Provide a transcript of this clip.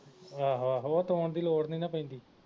ਆਹੋ ਆਹੋ ਉਹ ਤੋੜਨ ਦੀ ਲੋੜ ਨੀ ਨਾ ਪੈਂਦੀ